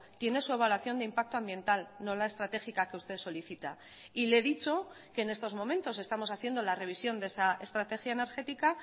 tiene su evaluación de impacto ambiental no la estratégica que usted solicita y le he dicho que en estos momentos estamos haciendo la revisión de esa estrategia energética